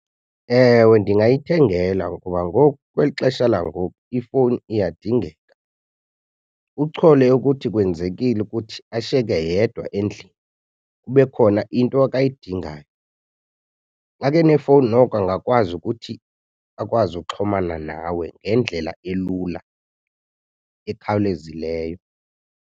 Ewe, ndingayithengela ngoba ngoku kweli xesha langoku ifowuni iyadingeka. Uchole ukuthi kwenzekile ukuthi ashiyeke yedwa endlini kube khona into akayidingayo. Makenefowuni noko angakwazi ukuthi akwazi ukuxhumana nawe ngendlela elula ekhawulezileyo.